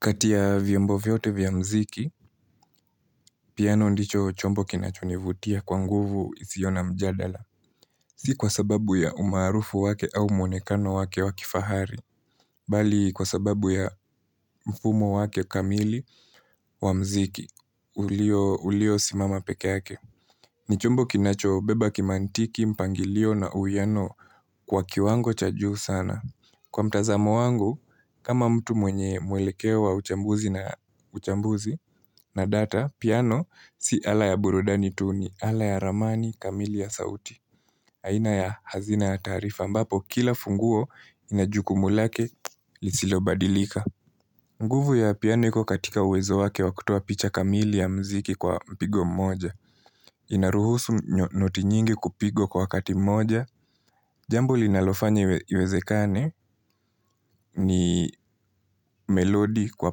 Kati ya vyombo vyote vya muziki, piano ndicho chombo kinachonivutia kwa nguvu isiyo na mjadala. Si kwa sababu ya umaarufu wake au mwonekano wake wa kifahari, bali kwa sababu ya mfumo wake kamili wa muziki, uliosimama peke yake. Ni chombo kinachobeba kimantiki, mpangilio na uwiano kwa kiwango cha juu sana. Kwa mtazamo wangu, kama mtu mwenye mwelekeo wa uchambuzi na data, piano, si ala ya burudani tu ni, ala ya ramani, kamili ya sauti. Aina ya hazina ya taarifa, ambapo kila funguo ina jukumu lake, lisilo badilika. Nguvu ya piano iko katika uwezo wake wa kutoa picha kamili ya mziki kwa mpigo mmoja. Inaruhusu noti nyingi kupigwa kwa wakati mmoja. Jambo linalofanya iwezekane ni melodi kwa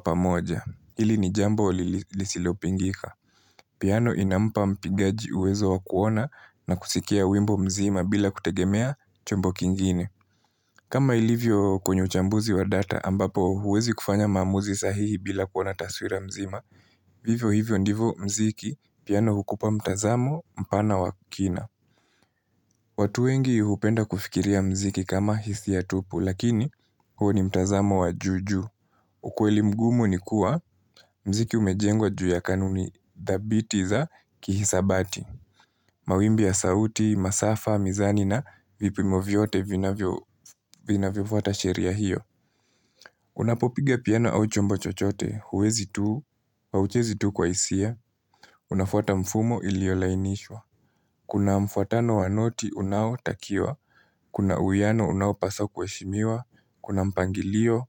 pamoja. Hili ni jambo lisilopingika. Piano inampa mpigaji uwezo wa kuona na kusikia wimbo mzima bila kutegemea chombo kingine. Kama ilivyo kwenye uchambuzi wa data ambapo huwezi kufanya maamuzi sahihi bila kuona taswira mzima. Vivyo hivyo ndivyo muziki piano hukupa mtazamo mpana wa kina. Watu wengi hupenda kufikiria muziki kama hisia tupu lakini huo ni mtazamo wa juujuu. Ukweli mgumu ni kuwa muziki umejengwa juu ya kanuni dhabiti za kihisabati. Mawimbi ya sauti, masafa, mizani na vipimo vyote vinavyofuata sheria hiyo. Unapopiga piano au chombo chochote, huwezi tu, hauchezi tu kwa hisia, unafuata mfumo iliyolainishwa. Kuna mfuatano wa noti unaotakiwa, kuna uwiano unawopaswa kuheshimiwa, kuna mpangilio.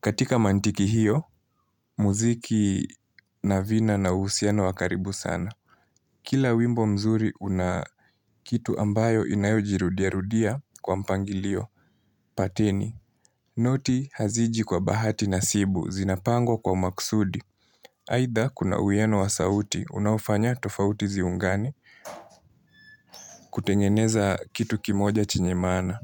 Katika mantiki hiyo, muziki na vina na uhusiano wa karibu sana. Kila wimbo mzuri una kitu ambayo inayojirudiarudia kwa mpangilio, pateni. Noti haziji kwa bahati nasibu zinapangwa kwa maksudi. Aidha kuna uwiano wa sauti unaofanya tofauti ziungane kutengeneza kitu kimoja chenye maana.